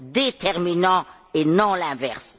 déterminant, et non l'inverse.